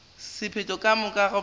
sephetho ka ga go ba